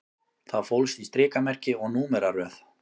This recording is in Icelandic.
Það fólst í strikamerki og númeraröð